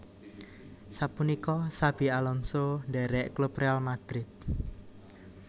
Sapunika Xabi Alonso ndhérék klub Real Madrid